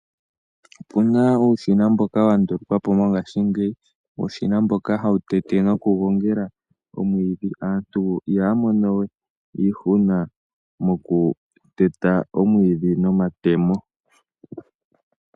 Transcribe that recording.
Opu na uushina mboka wa ndulukwa po mongashingeyi. Uushina mboka hawu tete nokugongela omwiidhi. Aantu ihaya mono we iihuna kokuteta omwiidhi nomatemo.